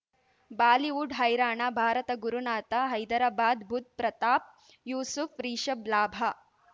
Bollywood ಹೈರಾಣ ಭಾರತ ಗುರುನಾಥ ಹೈದರಾಬಾದ್ ಬುಧ್ ಪ್ರತಾಪ್ ಯೂಸುಫ್ ರಿಷಬ್ ಲಾಭ